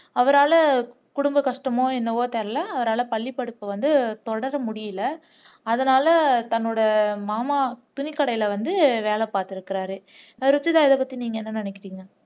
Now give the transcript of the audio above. அவரால குடும்ப கஷ்டமோ என்னவோ தெரியல அவரால பள்ளிப்படிப்பை வந்து தொடர முடியல அதனால தன்னோட மாமா துணிக்கடையில வந்து வேலை பாத்துருக்குறாரு ருஷிதா இதைப்பத்தி நீங்க என்ன நினைக்கிறீங்க